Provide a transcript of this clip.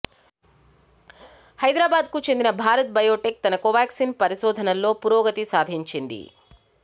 హైదరాబాద్కు చెందిన భారత్ బయోటెక్ తన కోవాక్సిన్ పరిశోధనల్లో పురోగతి సాధించింది